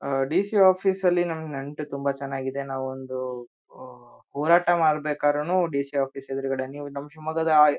ಆಹ್ಹ್ DC office ಅಲ್ಲಿ ನಮ್ ನಂಟು ತುಂಬಾ ಚೆನ್ನಾಗ್ ಇದೆ ನಾವು ಒಂದು ಉಉ ಹೋರಾಟ ಮಾಡಬೇಕಾದ್ರೂನು ಡಿಸಿ ಆಫೀಸ್ ಎದರುಗಡೆ ನೀವು ನಮ್ ಶಿವಮೊಗ್ಗದ ಆಹ್ಹ್ --